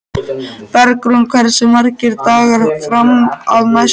Bergrún, hversu margir dagar fram að næsta fríi?